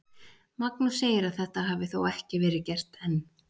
Magnús segir að þetta hafi þó ekki verið gert enn.